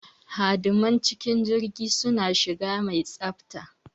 Hadiman cikin jirgi suna shiga mai tsafta.